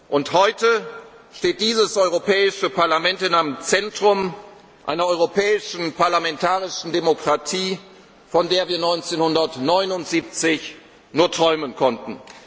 Union und heute steht dieses Europäische Parlament im Zentrum einer europäischen parlamentarischen Demokratie, von der wir 1979 nur träumen